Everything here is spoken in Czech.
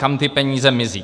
Kam ty peníze mizí?